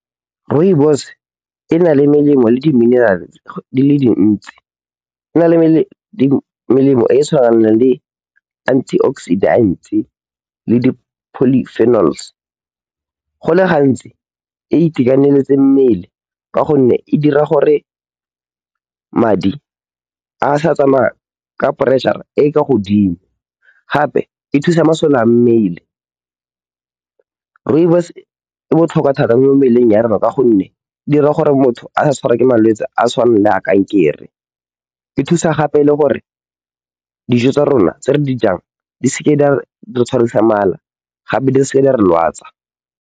Rooibos e na le melemo le di-mineral di le dintsi, e na le melemo e e tshwanang le antioxidants le di-polyphenols. Go le gantsi e itekaneletse mmele ka gonne e dira gore madi a se ka a tsamaya ka pressure e e kwa godimo, gape e thusa masole a mmele. Rooibos e botlhokwa thata mo mmeleng ya rona ka gonne e dira gore motho a se ka a tshwarwa ke malwetse a tshwanang le a kankere. E thusa gape le gore dijo tsa rona tse re di jang di se ke tsa re tshwarisa mala, gape di seke tsa re lwatsa.